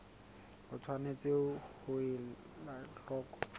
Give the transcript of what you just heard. o tshwanetse ho ela hloko